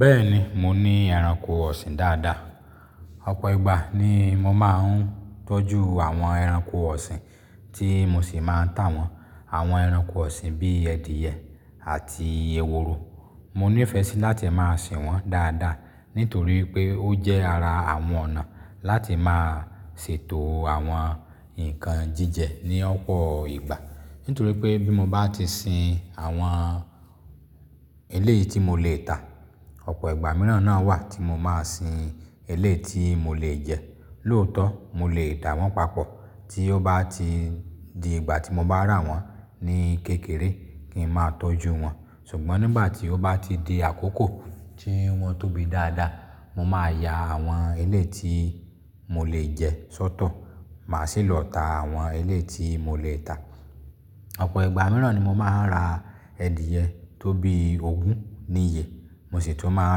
Bẹ́ẹ̀ni, mo ní ẹranko ọ̀sìn dáadáa. Ọ̀pọ̀ ìgbà ni mo máa ń tọ́jú àwọn ẹranko ọ̀sìn tí mo sì máa ń tà wọ́n. Àwọn ẹranko ọ̀sìn bí i adìẹ àti ehoro, mo ní ìfẹ́ sí láti máa sin wọ́n dáadáa nítorí pé ó jẹ́ ara àwọn ọ̀nà láti máa ṣètò àwọn ǹkan jíjẹ ní ọ̀pọ̀ ìgbà. Nítorí pé bí mo bá ti sin àwọn eléyi tí mo lè tà, ọ̀pọ̀ ìgbà mìíràn náà wà tí mo máa sin eléyi tí mo lè jẹ. Lóòótọ́, mo lè dà wọ́n papọ̀ tí ó bá ti di ìgbà tí mo bá rà wọ́n ní kékeré kí n máa tọ́jú wọn. Ṣùgbọ́n nígbà tí ó bá ti di àkókò tí wọ́n tóbi dáadáa, mo máa ya àwọn eléyi tí mo lè jẹ sọ́tọ̀, màá sì lọ ta àwọn eléyi tí mo lè tà. Ọ̀pọ̀ ìgbà mìíràn ni mo máa ń ra adìẹ tó bí ogún ní iye, mo sì tún máa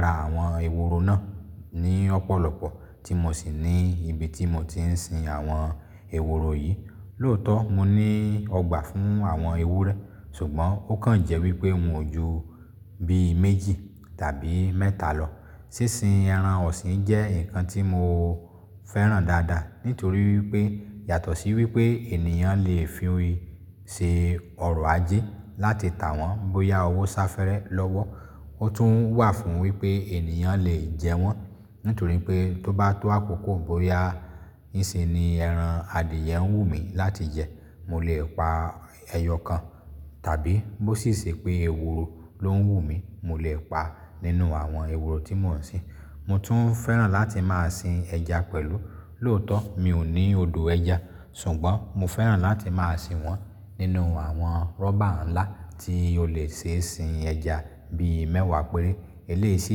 ń ra àwọn ehoro náà ní ọ̀pọ̀lọpọ̀ tí mo sì ní ibi tí mo ti ń sin àwọn ehoro yìí. Lóòótọ́, mo ní ọgbà fún àwọn ewúrẹ́, ṣùgbọ́n ó kàn jẹ́ wípé wọn ò ju bí méjì tàbí mẹ́ta lọ. Sínsin ẹran ọ̀sìn jẹ́ ǹkan tí mo fẹ́ràn dáadáa, nítorí wípé yàtọ̀ sí wípé ènìyàn lè fi ṣe ọrọ̀ ajé láti tà wọ́n bóyá owó sáfẹ́rẹ́ lọ́wọ́. Ó tún wà fún wípé ènìyàn lè jẹ wọ́n, nítorí pé tó bá tó àkókò bóyá ń ṣe ni ẹran adìẹ ń wù mí láti jẹ, mo lè pa ẹyọ kan. Tàbí bó sì ṣe pé ehoro ló ń wù mí, mo lè pa nínú àwọn ehoro tí mò ń sin. Mo tún fẹ́ràn láti máa sin ẹja pẹ̀lú. Lóòótọ́, mi ò ní odò ẹja, ṣùgbọ́n mo fẹ́ràn láti máa sin wọ́n nínú àwọn rubber ńlá tí ó lè ṣe sin ẹja bí i mẹ́wàá péré. Eléyi sì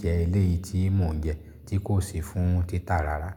jẹ́ eléyi tí mò ń jẹ tí kò sì fún títà rárá.